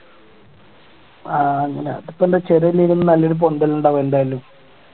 ആഹ് അങ്ങനെ അതിപ്പോ എന്താ ഇല്ലേലും നല്ലൊരു പൊന്തൽ ഉണ്ടാവും എന്തായാലും